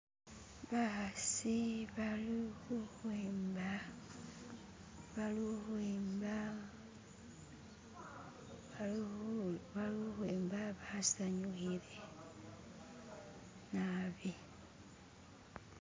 Bakasi bali kukwimba balikwimba, baliku.. balikwimba basanyukile nabi.